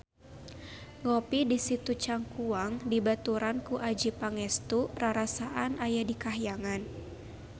Ngopi di Situ Cangkuang dibaturan ku Adjie Pangestu rarasaan aya di kahyangan